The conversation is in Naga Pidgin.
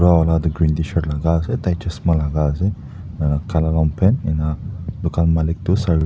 enahuina itu green tshirt laga ase tai chasma laga ase ena kala longpant ena dukan malik Tu saree--